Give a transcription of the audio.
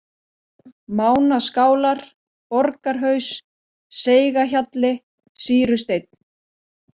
Mánaskálar, Borgarhaus, Seigahjalli, Sýrusteinn